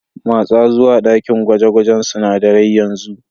Matsa zuwa dakin gwaje-gwajen sunadarai yanzu.